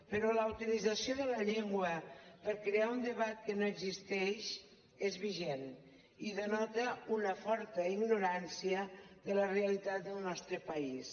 però la utilització de la llengua per crear un debat que no existeix és vigent i denota una forta ignorància de la realitat del nostre país